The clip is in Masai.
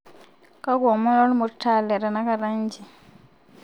kakua omon lormutaa letenakata nji